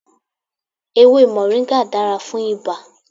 Ewe Moringa dara fún ibà.